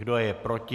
Kdo je proti?